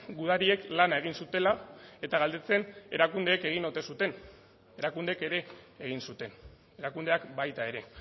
gudariek lana egin zutela eta galdetzen erakundeek egin ote zuten erakundeek ere egin zuten erakundeak baita ere